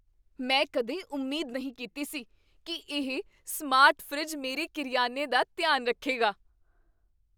ਮੈਂ ਕਦੇ ਉਮੀਦ ਨਹੀਂ ਕੀਤੀ ਸੀ ਕੀ ਇਹ ਸਮਾਰਟ ਫਰਿੱਜ ਮੇਰੇ ਕਰਿਆਨੇ ਦਾ ਧਿਆਨ ਰੱਖੇਗਾ।